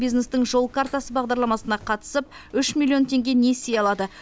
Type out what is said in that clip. бизнестің жол картасы бағдарламасына қатысып үш миллион теңге несие алады